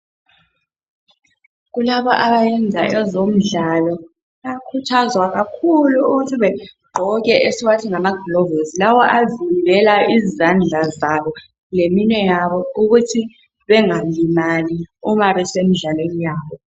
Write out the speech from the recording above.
Kulabo abayenza ezomdlalo bayakhuthazwa kakhulu ukuthi begqoke esiwathi ngamaglovisi lawo avimbela izandla zabo leminwe yabo ukuthi bengalimali uma besemdlalweni yabo.